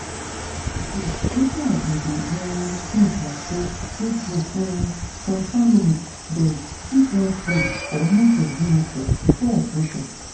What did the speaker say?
true true wetin i bin dey um think na say true true um some family dem fit wan pray or make dem do ritual before operation.